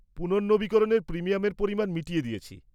-পুনর্নবীকরণের প্রিমিয়ামের পরিমাণ মিটিয়ে দিয়েছি।